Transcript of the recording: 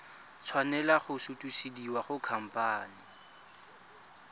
tshwanela go sutisediwa go khamphane